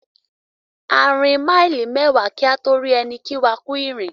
A rìn maili mẹ́wa kí a tó rí ẹni kí wá "kú ìrìn".